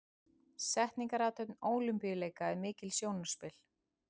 Setningarathöfn Ólympíuleika er mikið sjónarspil.